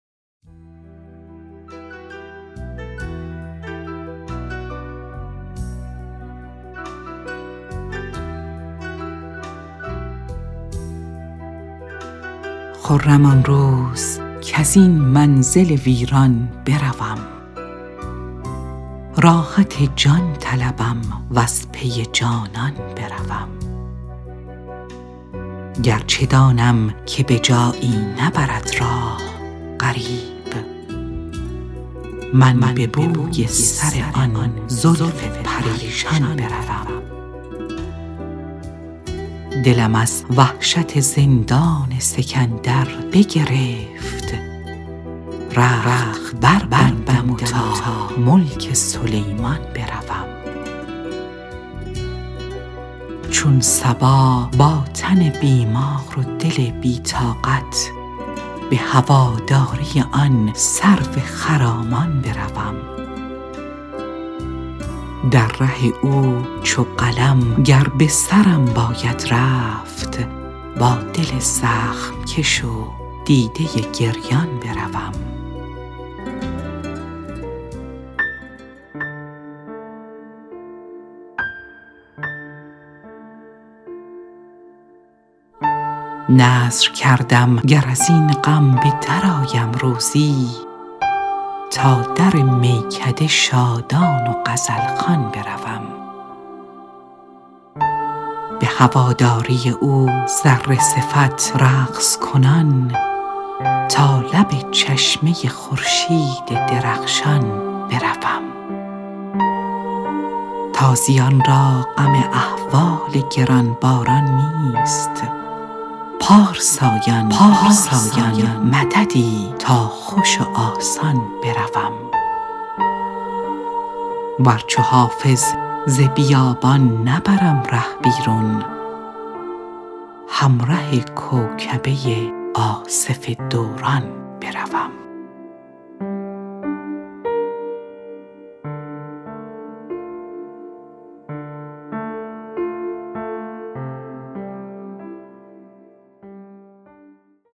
خرم آن روز کز این منزل ویران بروم راحت جان طلبم و از پی جانان بروم گر چه دانم که به جایی نبرد راه غریب من به بوی سر آن زلف پریشان بروم دلم از وحشت زندان سکندر بگرفت رخت بربندم و تا ملک سلیمان بروم چون صبا با تن بیمار و دل بی طاقت به هواداری آن سرو خرامان بروم در ره او چو قلم گر به سرم باید رفت با دل زخم کش و دیده گریان بروم نذر کردم گر از این غم به درآیم روزی تا در میکده شادان و غزل خوان بروم به هواداری او ذره صفت رقص کنان تا لب چشمه خورشید درخشان بروم تازیان را غم احوال گران باران نیست پارسایان مددی تا خوش و آسان بروم ور چو حافظ ز بیابان نبرم ره بیرون همره کوکبه آصف دوران بروم